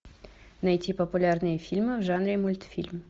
найти популярные фильмы в жанре мультфильм